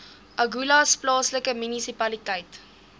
agulhas plaaslike munisipaliteit